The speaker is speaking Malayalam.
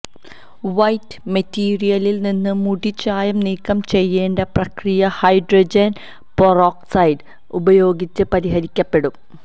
വൈറ്റ് മെറ്റീരിയലിൽ നിന്ന് മുടി ചായം നീക്കം ചെയ്യേണ്ട പ്രക്രിയ ഹൈഡ്രജൻ പെറോക്സൈഡ് ഉപയോഗിച്ച് പരിഹരിക്കപ്പെടും